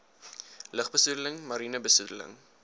lugbesoedeling mariene besoedeling